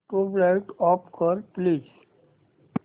tubelight off कर please